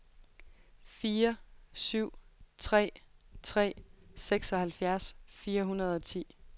fire syv tre tre seksoghalvfjerds fire hundrede og ti